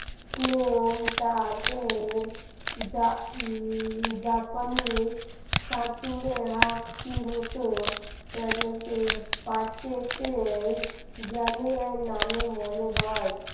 Claim টা এর জাপানি চাতুরে half টির মত Purchase এর নামে জানি বলে মনে হয়